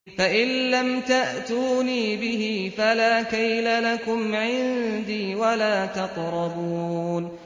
فَإِن لَّمْ تَأْتُونِي بِهِ فَلَا كَيْلَ لَكُمْ عِندِي وَلَا تَقْرَبُونِ